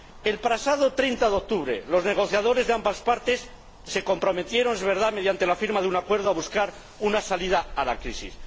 El pasado 30 de octubre los negociadores de ambas partes se comprometieron —es verdad—, mediante la firma de un acuerdo, a buscar una salida a la crisis.